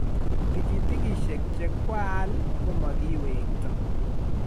tikitishek che kwaal ko makiwekto